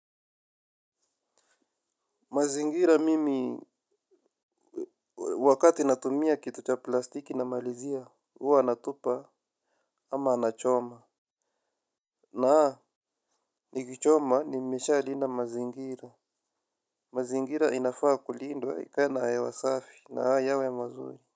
Mazingira mimi wakati natumia kitu cha plastiki namalizia huwa natupa ama nachoma. Naa nikichoma nimeshalinda mazingira. Mazingira inafaa kulindwa ikae na hewa safi na yawe mazuri.